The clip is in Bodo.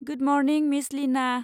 Good morning, miss Lina!